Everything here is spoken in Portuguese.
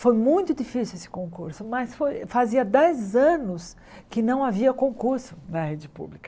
Foi muito difícil esse concurso, mas foi fazia dez anos que não havia concurso na rede pública.